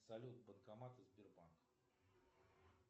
салют банкоматы сбербанк